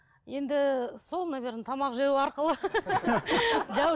енді сол наверное тамақ жеу арқылы